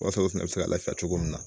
Wasa olu fɛnɛ be se ka lafiya cogo min na